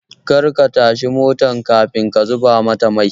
Kar ka tashi motar kafin ka zuba mata mai